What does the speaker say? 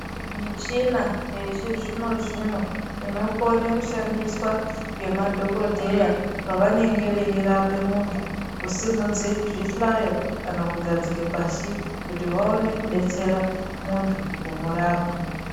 Muchina yechizvino zvino inokone kushandiswa ngemadhokodheya pavanenge veirape muntu kusimudze zvihlayo kana kugadzike pashi kuti vaone kudetsera muntu kumurapa.